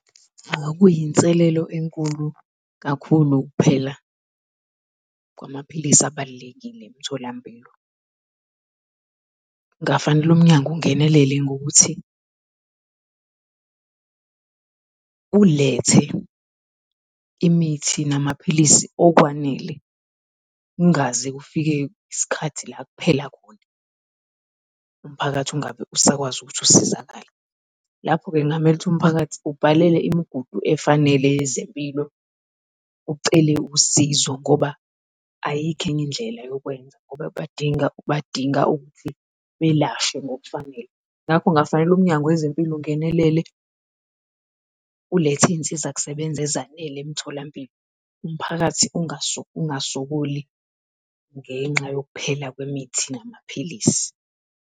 Kuyinselelo enkulu kakhulu ukuphela kwamaphilisi abalulekile emtholampilo. Kungafanele umnyango ungenelele ngokuthi ulethe imithi namaphilisi okwanele kungaze kufike iskhathi la kuphela khona, umphakathi ungabe usakwazi ukuthi usizakale. Lapho-ke ngamele ukuthi umphakathi ubhalele imigudu efanele yezempilo ucele usizo ngoba ayikho enye indlela yokwenza ngoba kuyadinga badinga ukuthi belashwe ngokufanele. Ngakho kungafanele umnyango wezempilo ungenelele ulethe izinsiza kusebenza ezanele emtholampilo. Umphakathi ungasokoli ngenxa yokuphela kwemithi namaphilisi.